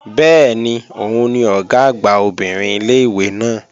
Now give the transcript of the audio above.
Bẹ́ẹ̀ni, òun ni Ọ̀gá àgbà obìnrin ilé-ìwé náà